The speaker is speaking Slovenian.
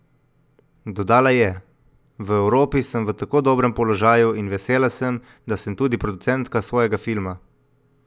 Dodala je: "V Evropi sem v tako dobrem položaju in vesela sem, da sem tudi producentka svojega filma.